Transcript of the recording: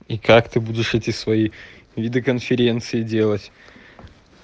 и как ты будешь эти свои виды конференций делать